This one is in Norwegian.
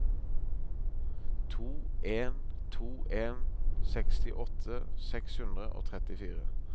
to en to en sekstiåtte seks hundre og trettifire